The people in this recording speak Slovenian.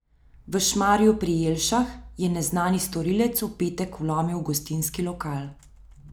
V Šmarju pri Jelšah je neznani storilec v petek vlomil v gostinski lokal.